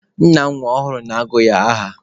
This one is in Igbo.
Nna nwa ọhụrụ na-agụ nwa ya aha.